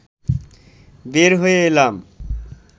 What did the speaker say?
বের হয়ে এলাম